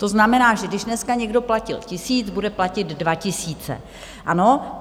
To znamená, že když dneska někdo platil tisíc, bude platit dva tisíce, ano?